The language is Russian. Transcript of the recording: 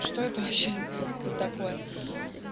что это вообще за такое